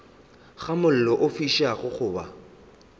ga mollo o fišago goba